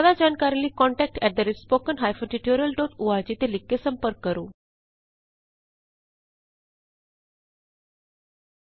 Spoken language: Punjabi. ਜਿਆਦਾ ਜਾਣਕਾਰੀ ਲਈ contact at the rate spoken hyphen tutorial dot org contact spoken tutorialਓਰਗ ਤੇ ਲਿਖ ਕੇ ਸੰਪਰਕ ਕਰੋ